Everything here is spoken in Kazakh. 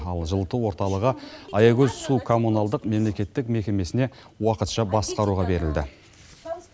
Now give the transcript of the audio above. ал жылыту орталығы аягөз су коммуналдық мемлекеттік мекемесіне уақытша басқаруға берілді